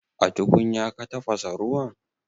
A tukunya ka tafasa ruwan?